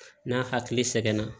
N'a hakili sɛgɛn na